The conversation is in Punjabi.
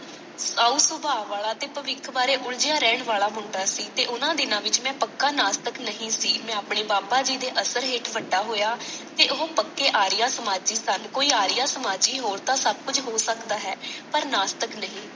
ਸਾਊ ਸੁਭਾਅ ਵਾਲਾ ਤੇ ਭਵਿਖ ਬਾਰੇ ਉਲਝਿਆ ਰਹਿਣ ਵਾਲਾ ਮੁੰਡਾ ਸੀ, ਤੇ ਉਹਨਾ ਦਿਨਾਂ ਵਿਚ ਮੈਂ ਪੱਕਾ ਨਾਸਤਿਕ ਨਹੀਂ ਸੀ। ਮੈਂ ਆਪਣੇ ਬਾਬਾ ਜੀ ਦੇ ਅਸਰ ਹੇਠ ਵੱਡਾ ਹੋਇਆ ਤੇ ਉਹ ਪੱਕੇ ਆਰੀਆ ਸਮਾਜੀ ਸਨ। ਕੋਈ ਆਰੀਆ ਸਮਾਜੀ ਹੋਣ ਤਾਂ ਸਭ ਕੁੱਝ ਹੋ ਸਕਦਾ ਹੈ। ਪਰ ਨਾਸਤਿਕ ਨਹੀਂ।